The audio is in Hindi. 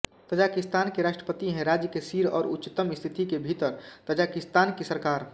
तजाकिस्तान के राष्ट्रपति है राज्य के सिर और उच्चतम स्थिति के भीतर ताजिकिस्तान की सरकार